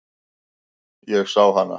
Ég sá hana.